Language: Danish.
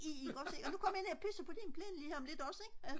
ikk ogs og nu kommer jeg ned og pisser på din plæne lige her om lidt også ikk